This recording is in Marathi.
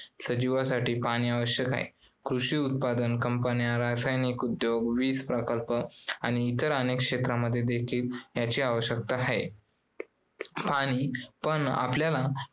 सजीवांसाठी पाणी आवश्यक आहे. कृषी उत्पादन companies, रासायनिक उद्योग, वीज प्रकल्प आणि इतर अनेक क्षेत्रांमध्ये देखील याची आवश्यकता आहे. पण आपल्याला